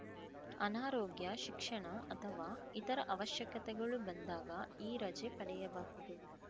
ಅನಾರೋಗ್ಯ ಶಿಕ್ಷಣ ಅಥವಾ ಇತರ ಅವಶ್ಯಕತೆಗಳು ಬಂದಾಗ ಈ ರಜೆ ಪಡೆಯಬಹುದು